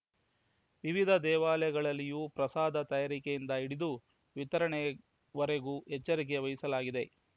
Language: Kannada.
ವಿವಿಧ ದೇವಾಲಯಗಳಲ್ಲಿಯೂ ಪ್ರಸಾದ ತಯಾರಿಕೆಯಿಂದ ಹಿಡಿದು ವಿತರಣೆವರೆಗೂ ಎಚ್ಚರಿಕೆ ವಹಿಸಲಾಗಿದೆ